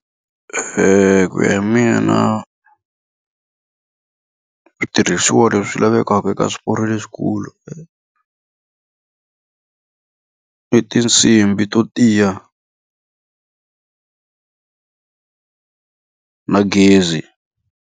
ku ya hi mina switirhisiwa leswi lavekaka eka swiporo leswikulu i tinsimbhi to tiya na gezi.